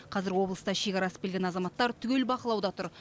қазір облыста шекара асып келген азаматтар түгел бақылауда тұр